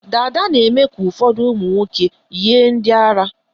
Dada na-eme ka ụfọdụ ụmụnwoke yie ndị ara.